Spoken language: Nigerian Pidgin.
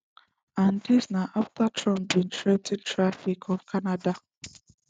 and dis na afta trump bin threa ten tariffs on canada